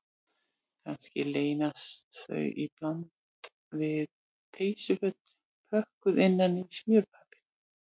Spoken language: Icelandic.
Kannski leynast þar í bland við peysuföt pökkuð innan í smjörpappír